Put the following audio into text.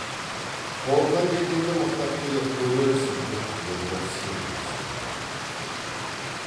қолынан келгенде мықтап келеді көрерсің деп ербол сенімді сөйледі